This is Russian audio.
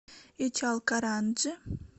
ичалкаранджи